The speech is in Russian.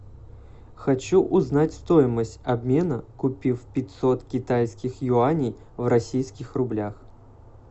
хочу узнать стоимость обмена купив пятьсот китайских юаней в российских рублях